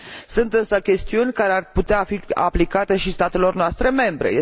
Sunt însă chestiuni care ar putea fi aplicate și statelor noastre membre.